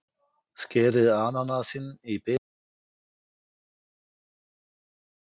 Skerið ananasinn í bita og saxið sýrðu agúrkurnar smátt.